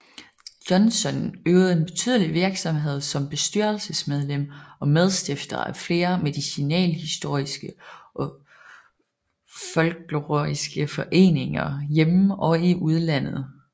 Jonsson øvede en betydelig virksomhed som bestyrelsesmedlem og medstifter af flere medicinalhistoriske og folkloristiske foreninger hjemme og i udlandet